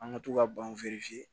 An ka to ka ban